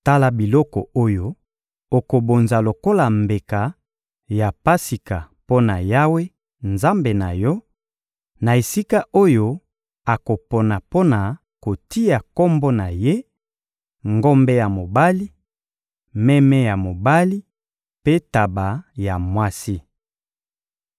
Tala biloko oyo okobonza lokola mbeka ya Pasika mpo na Yawe, Nzambe na yo, na esika oyo akopona mpo na kotia Kombo na Ye: ngombe ya mobali, meme ya mobali mpe ntaba ya mwasi.